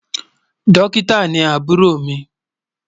Dọ́kítà ni àbúrò mi